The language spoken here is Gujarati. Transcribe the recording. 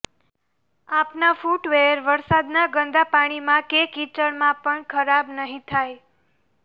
આપના ફૂટવેઅર વરસાદના ગંદાપાણીમાં કે કીચડમાં પણ ખરાબ નહીં થાય